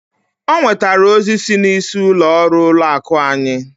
O nwetara ozi si n'isi ụlọ ọrụ ụlọ akụ anyị.